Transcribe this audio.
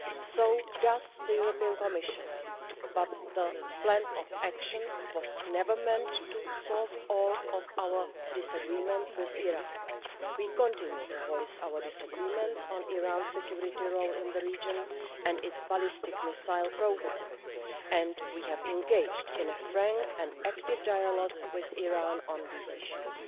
So does the European Commission, but the Plan of Action was never meant to solve all of our disagreements with Iran. We continue to voice our disagreements on Iran's security role in the region and its ballistic missile programme and we have engaged in a frank and active dialogue with Iran on these issues.